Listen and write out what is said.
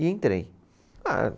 E entrei. Ah